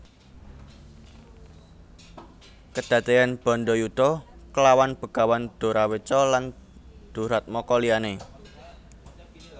Kedaden bandayuda klawan Begawan Doraweca lan duratmaka liyane